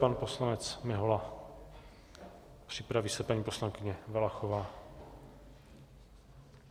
Pan poslanec Mihola, připraví se paní poslankyně Valachová.